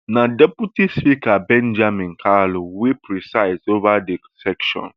na deputy speaker benjamin kalu wey preside ova di session